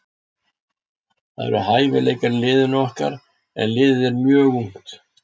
Það eru hæfileikar í liðinu okkar en liðið er mjög ungt.